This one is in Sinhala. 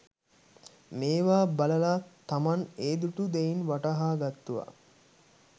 මේවා බලලා තමන් ඒ දුටු දෙයින් වටහාගත්තුවා